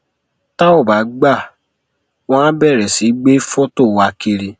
tá ò bá gbà á wọn àá bẹrẹ sí í gbé fọtò wa kiri